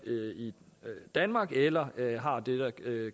i danmark eller har det der